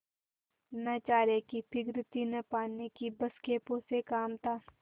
न चारे की फिक्र थी न पानी की बस खेपों से काम था